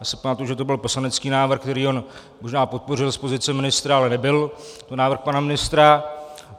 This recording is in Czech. Já si pamatuji, že to byl poslanecký návrh, který on možná podpořil z pozice ministra, ale nebyl to návrh pana ministra.